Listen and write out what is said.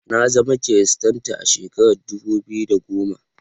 Na zama kiristanta a shekarar dubu biyu da goma.